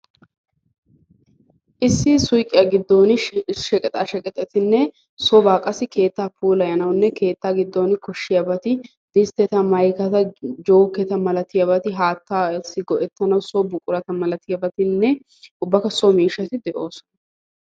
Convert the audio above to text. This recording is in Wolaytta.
Issi suuqiyaa giddon sheqexaa sheqeteta malatiyaageeti sonaa puulayanawu maadiyaageeti distteti ubbakka so miishati de'oosona.